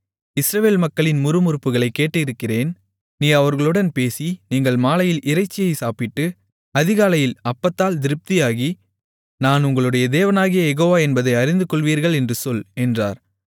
இஸ்ரவேல் மக்களின் முறுமுறுப்புகளைக் கேட்டிருக்கிறேன் நீ அவர்களுடன் பேசி நீங்கள் மாலையில் இறைச்சியைச் சாப்பிட்டு அதிகாலையில் அப்பத்தால் திருப்தியாகி நான் உங்களுடைய தேவனாகிய யெகோவா என்பதை அறிந்துகொள்வீர்கள் என்று சொல் என்றார்